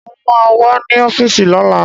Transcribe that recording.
Mo ma wà ní ọ́fíìsì lọ́la